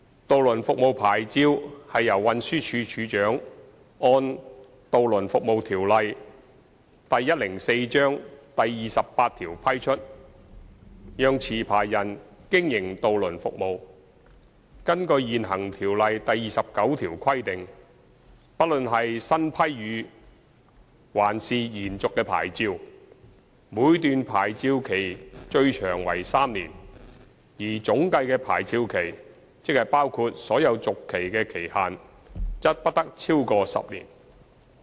渡輪服務牌照是由運輸署署長按《渡輪服務條例》第28條批出，讓持牌人經營渡輪服務。根據現行《條例》第29條規定，不論是新批予還是延續的牌照，每段牌照期最長為3年，而總計的牌照期，即包括所有續期的期限，則不得超過10年。